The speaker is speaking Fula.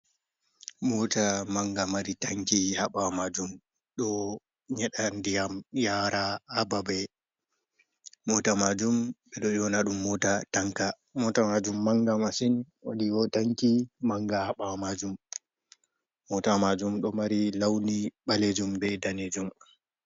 Moota mannga mari tanki, ha ɓaawo maajum, ɗo nyeɗa ndiyam yaara ha babe. Moota maajum ɓe ɗo ewna ɗum moota tanka, moota maajum mannga masin, woodi tanki mannga ba ɓaawo maajum, mootawa maajum ɗo mari lawni daneejum bee ɓaleejum.